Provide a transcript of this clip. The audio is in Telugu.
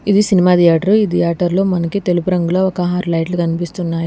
ఇది సినిమా ధియేటర్ ఇది థియేటర్లో మనకి తెలుపు రంగులో ఒక ఆరు లైట్లు కనిపిస్తున్నాయి.